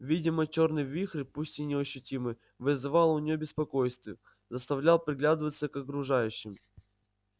видимо чёрный вихрь пусть и неощутимый вызывал у неё беспокойство заставлял приглядываться к окружающим